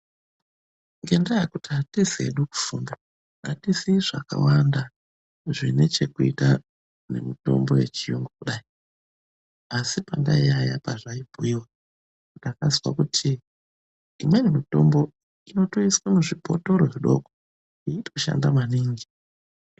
Ngenda yekuti atizii hedu kufunda, atizii zvakawanda zvinechekuita nemitombo yechiyungu kudai, asi pandaiyaiya pazvaibhuyiwa ndakanzwa kuti imweni mitombo, inoiswa muzvibhotoro zvidoko inoshanda maningi.